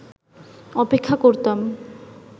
অপেক্ষা করতাম